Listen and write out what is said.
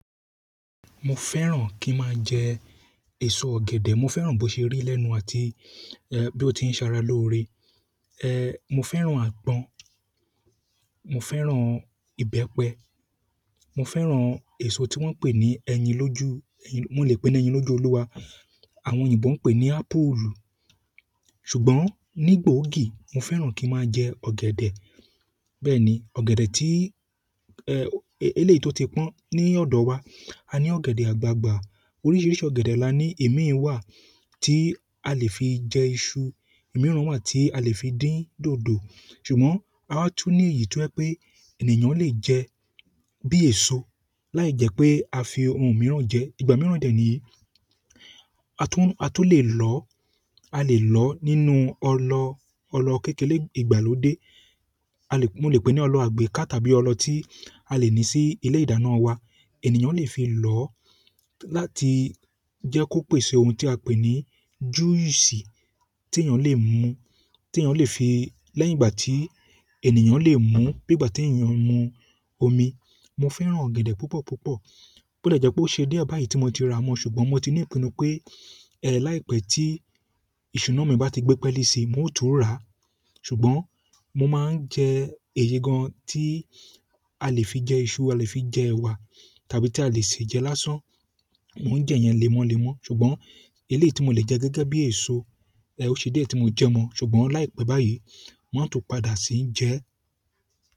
Mo fẹ́ràn kí n máa jẹ èso ọ̀gẹ̀dẹ̀. Mo fẹ́ràn bó ṣe rí lẹ́nu àti, ẹ, bí ó ti ń sara lóore. E, mo fẹ́ràn àgbọn, mo fẹ́ràn ìbẹ́pẹ, mo fẹ́ràn èso tí wọ́n ń pè ní ẹyin lójú, ẹyin-- mo lè pè é ní ẹyin lójú olúwa. Àwọn òyìnbó ń pè ní apple. Ṣùgbọ́n ní gboogi mo fẹ́ràn kí n máa jẹ ọ̀gẹ̀dẹ̀. Bẹ́ẹ̀ni ọ̀gẹ̀dẹ̀ eleyi ti o ti pọn, ni ọdọ wa a ni ọ̀gẹ̀dẹ̀ agbagba oríṣìíríṣìí ọ̀gẹ̀dẹ̀ là ní ìmíì wà tí a lè fi jẹ iṣu, ìmíràn wà tí a lè fi dín dòdò. Ṣùgbọ́n a wa tun ni èyí to jẹ pe ènìyàn le jẹ bi eso láì jẹ́ pé a fi ohun mìíràn jẹ. Ìgbà mìíràn dẹ niyi a tún, a tún lè lọ, a lè lọ nínú ọlọ, ọlọ kékeré ìgbàlódé. A lè-- mo lè pè ní ọlọ àgbéká tàbí ọlọ tí a lè ní sí ilé ìdáná wa. Ẹ̀nìyàn lè fi lọ láti jẹ́ kó pèsè ohun tí a pè ní júísì tí ènìyàn lè mú, tí ènìyàn lè fi lẹ́yìn ìgbà tí ènìyàn lè mú, bí ìgbà tí ènìyàn ń mu omi. Mo fẹ́ràn ọ̀gẹ̀dẹ̀ púpọ̀ púpọ̀. Ó dẹ jẹ pé ó ṣe dé báyìí tí mo ti ra wọn. Ṣùgbọ́n mo ti ní ìpinnu pé, ẹ, láìpẹ́ tí iṣuna mi bá ti gbé pẹ́lẹ́ sí i, mo ó tún rà á. Ṣùgbọ́n mo máa ń jẹ èyí gan tí a lè fi jẹ iṣu, a lè fi jẹ ẹwà tàbí tí a lè sì jẹ lásán. Mo ń jẹ èèyàn lémọ́ lémọ́. Ṣùgbọ́n eléyìí tí mo lè jẹ gẹ́gẹ́ bí èso, ẹ, ó ṣe diẹ tí mo jẹ mọ́. Ṣùgbọ́n láìpẹ́ báyìí, máa tún padà sì í jẹ ẹ́.